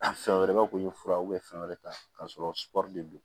A fɛn wɛrɛ b'a ko ye fura fɛn wɛrɛ ta ka sɔrɔ sugɔro de don